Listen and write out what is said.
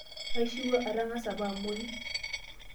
Aishiwuo atang'asa apa amuoi.